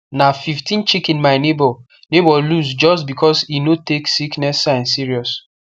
na fifteen chicken my neighbour neighbour lose just because e no take sickness sign serious